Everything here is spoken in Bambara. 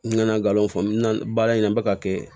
N nana galon fɔ n nana baara in na n bɛ ka kɛ